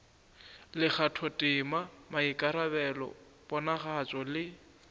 le kgathotema maikarabelo ponagatšo le